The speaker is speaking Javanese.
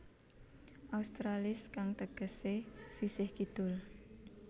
Australis kang tegesé sisih kidul